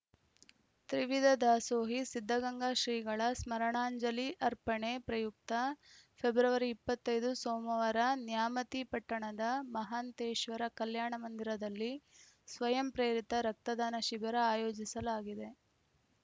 ತ್ರಿವಿಧ ದಾಸೋಹಿ ಸಿದ್ದಗಂಗಾ ಶ್ರೀಗಳ ಸ್ಮರಣಾಂಜಲಿ ಅರ್ಪಣೆ ಪ್ರಯುಕ್ತ ಫೆಬ್ರವರಿ ಇಪ್ಪತ್ತ್ ಐದು ಸೋಮವಾರ ನ್ಯಾಮತಿ ಪಟ್ಟಣದ ಮಹಾಂತೇಶ್ವರ ಕಲ್ಯಾಣ ಮಂದಿರದಲ್ಲಿ ಸ್ವಯಂಪ್ರೇರಿತ ರಕ್ತದಾನ ಶಿಬಿರ ಆಯೋಜಿಸಲಾಗಿದೆ